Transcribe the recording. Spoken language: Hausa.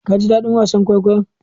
Kaji daɗin wasa kwaikwayon?